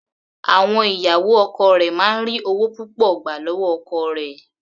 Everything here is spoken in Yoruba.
Àwọn ìyàwó ọkọ rẹ̀ máa ń ri ọwọ́ púpọ̀ gbà lọ́wọ́ ọkọ rẹ̀.